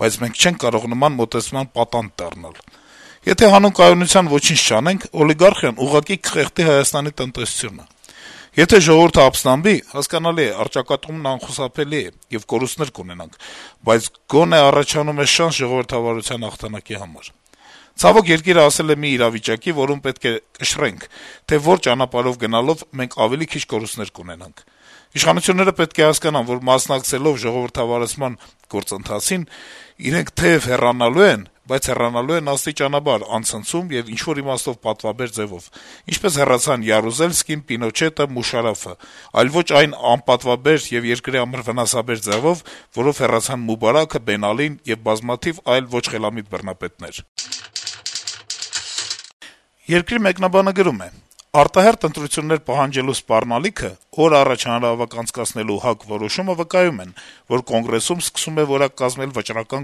բայց մենք չենք կարող նման մոտեցման պատանդ դառնալ: Եթե հանուն կայունության ոչինչ չանենք, օլիգարխիան ուղղակի կխեղդի Հայաստանի տնտեսությունը: Եթե ժողովուրդը ապստամբի, հասկանալի է, առճակատումն անխուսափելի է, եւ կորուստներ կունենանք, բայց գոնե առաջանում է շանս ժողովրդավարության հաղթանակի համար: Ցավոք, երկիրը հասել է մի իրավիճակի, որում պետք է կշռենք, թե որ ճանապարհով գնալով մենք ավելի քիչ կորուստներ կունենանք: Իշխանությունները պետք է հասկանան, որ մասնակցելով ժողովրդավարացման գործընթացին, իրենք թեեւ հեռանալու են, բայց հեռանալու են աստիճանաբար, անցնցում եւ ինչ-որ իմաստով պատվաբեր ձեւով, այնպես, ինչպես հեռացան Յարուզելսկին, Պինոչետը, Մուշարաֆը, այլ ոչ այն անպատվաբեր եւ երկրի համար վնասաբեր ձեւով, որով հեռացան Մուբարաքը, Բեն Ալին եւ բազմաթիվ այլ ոչ խելամիտ բռնապետներ»: «Երկիր» թերթի մեկնաբանը գրում է. - «Արտահերթ ընտրություններ պահանջելու սպառնալիքը, օր առաջ հանրահավաք անցկացնելու ՀԱԿ որոշումը վկայում են, որ Կոնգրեսում սկսում է որակ կազմել վճռական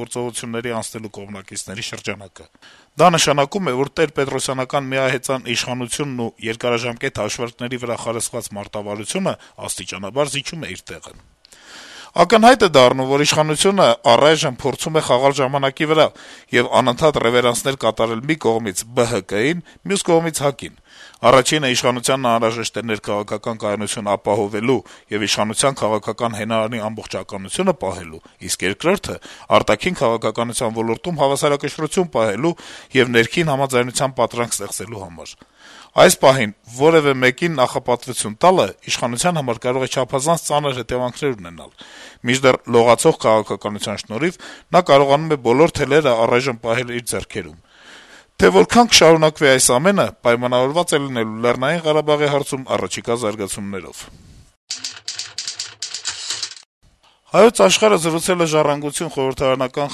գործողությունների անցնելու կողմնակիցների շրջանակը: Դա նշանակում է, որ տերպետրոսյանական միահեծան ազդեցությունն ու երկարաժամկետ հաշվարկների վրա խարսխված մարտավարությունը աստիճանաբար զիջում է իր տեղը: Ակնհայտ է դառնում, որ իշխանությունը առայժմ փորձում է խաղալ ժամանակի վրա եւ անընդհատ ռեւերանսներ կատարել մի կողմից ԲՀԿ-ին, մյուս կողմից ՀԱԿ-ին: Առաջինը իշխանությանն անհրաժեշտ է ներքաղաքական կայունություն ապահովելու եւ իշխանության քաղաքական հենարանի ամբողջականությունը պահելու, իսկ երկրորդը` արտաքին քաղաքականության ոլորտում հավասարակշռություն պահելու եւ ներքին համաձայնության պատրանք ստեղծելու համար: Այս պահին կողմերից որեւէ մեկին նախապատվության տալը իշխանության համար կարող է չափազանց ծանր հետեւանքներ ունենալ, մինչդեռ «լողացող» քաղաքականության շնորհիվ նա կարողանում է բոլոր թելերն առայժմ պահել իր ձեռքերում: Թե որքան կշարունակվի այս ամենը, պայմանավորված է լինելու Լեռնային Ղարաբաղի հարցում առաջիկա զարգացումներով»: «Հայոց Աշխարհ»-ը զրուցել է «Ժառանգություն» խորհրդարանական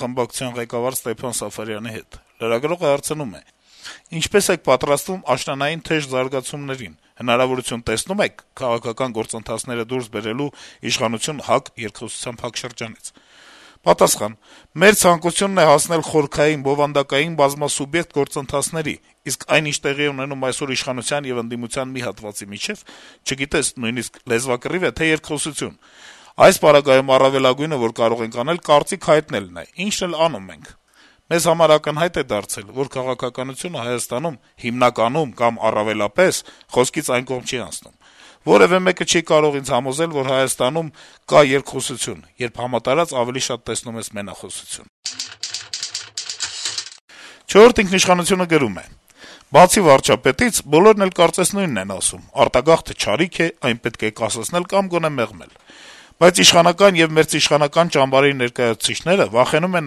խմբակցության ղեկավար Ստեփան Սաֆարյանի հետ: Լրագրողը հարցնում է. -« Ինչպե՞ս եք պատրաստվում աշնանային թեժ զարգացումներին. հնարավորություն տեսնո՞ւմ եք` քաղաքական գործընթացները դուրս բերելու իշխանություն-ՀԱԿ «երկխոսության» փակ շրջանից»։ Պատասխան. - «Մեր ցանկությունն է` հասնել խորքային, բովանդակային բազմասուբյեկտ գործընթացների, իսկ այն, ինչ տեղի է ունենում այսօր իշխանության եւ ընդդիմության մի հատվածի միջեւ, չգիտես նույնիսկ` լեզվակռի՞վ է, թե՞ երկխոսություն։ Այս պարագայում առավելագույնը, որ կարող ենք անել, կարծիք հայտնելն է, ինչն էլ անում ենք։ Մեզ համար ակնհայտ դարձավ, որ քաղաքականությունը Հայաստանում հիմնականում կամ առավելապես խոսքից այն կողմ չի անցնում։ Որեւէ մեկը չի կարող ինձ համոզել, որ Հայաստանում կա երկխոսություն, երբ համատարած ավելի շատ տեսնում ես մենախոսություն»։ «Չորրորդ ինքնիշխանություն»-ը գրում է. - «Բացի վարչապետից` բոլորն էլ կարծես նույնն են ասում` արտագաղթը չարիք է, այն պետք է կասեցնել կամ գոնե մեղմել: Բայց իշխանական եւ մերձիշխանական ճամբարի ներկայացուցիչները վախենում են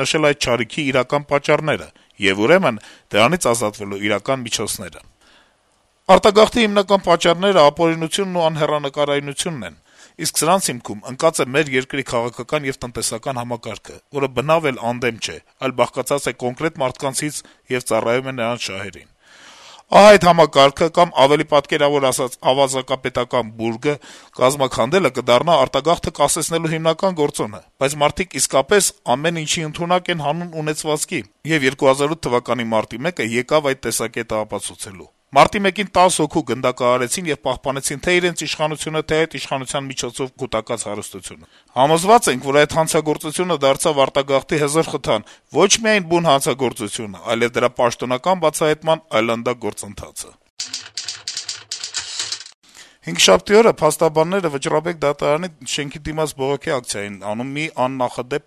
նշել այդ չարիքի իրական պատճառները եւ ուրեմն դրանից ազատվելու իրական միջոցները: Արտագաղթի հիմնական պատճառները ապօրինությունն ու անհեռանկարությունն են, իսկ սրանց հիմքում ընկած է մեր երկրի քաղաքական եւ տնտեսական համակարգը, որը բնավ էլ անդեմ չէ, այլ բաղկացած է կոնկրետ մարդկանցից եւ ծառայում է նրանց շահերին: Ահա այդ համակարգը կամ, պատկերավոր ասած` ավազակապետական բուրգը կազմաքանդելը կդառնա արտագաղթը կասեցնելու հիմնական գործոնը: Բայց մարդիկ իսկապես ամեն ինչի ընդունակ են հանուն ունեցվածքի, եւ 2008 թվականի մարտի 1-ը եկավ այդ տեսակետը ապացուցելու: Մարտի 1-ին 10 հոգու գնդակահարեցին եւ պահպանեցին թե' իրենց իշխանությունը, թե' այդ իշխանության միջոցով կուտակած հարստությունը: Համոզված ենք, որ այդ հանցագործությունը դարձավ արտագաղթի հզոր խթան, ոչ միայն բուն հանցագործությունը, այլեւ դրա պաշտոնական «բացահայտման» այլանդակ գործընթացը»: Հինգշաբթի օրը Վճռաբեկ դատարանի շենքի դիմաց բողոքի ակցիայի էին դուրս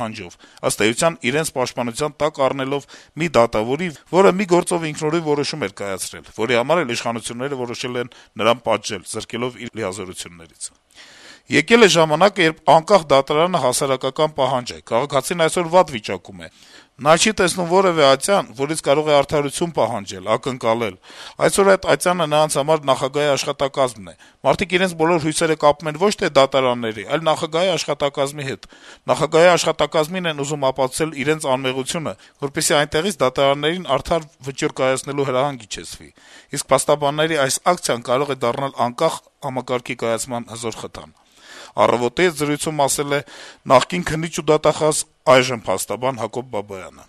եկել փաստաբանները` պաշտպանության տակ առնելով մի դատավորի, որը մի գործով ինքնուրույն որոշում էր կայացրել, որի համար էլ իշխանությունները որոշել են նրան զրկել իր լիազորություններից: «Եկել է ժամանակը, երբ անկախ դատարանը հասարակական պահանջ է: Քաղաքացին այսօր վատ վիճակում է: Նա չի տեսնում որեւէ ատյան, որից կարող է արդարություն պահանջել, ակնկալել: Այսօր այդ ատյանը նրանց համար նախագահի աշխատակազմն է: Մարդիկ իրենց բոլոր հույսերը կապում են ոչ թե դատարանների, այլ նախագահի աշխատակազմի հետ: Նախագահի աշխատակազմին են ուզում ապացուցել իրենց անմեղությունը, որպեսզի այնտեղից դատարաններին արդար վճիռ կայացնելու հրահանգ իջեցվի: Իսկ փաստաբանների այս ակցիան կարող է դառնալ անկախ համակարգի կայացման հզոր խթան», - «Առավոտ»-ի հետ զրույցում ասել է նախկին քննիչ ու դատախազ, այժմ փաստաբան Հակոբ Բաբայանը: